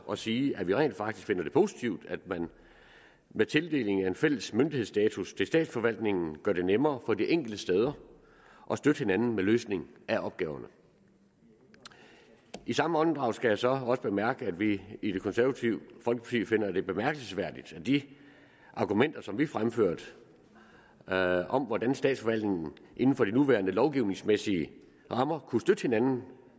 at sige at vi rent faktisk finder det positivt at man med tildeling af en fælles myndighedsstatus til statsforvaltningen gør det nemmere for de enkelte steder at støtte hinanden med løsning af opgaverne i samme åndedrag skal jeg så også bemærke at vi i det konservative folkeparti finder det bemærkelsesværdigt at de argumenter som vi fremførte om hvordan statsforvaltningen inden for de nuværende lovgivningsmæssige rammer kunne støtte hinanden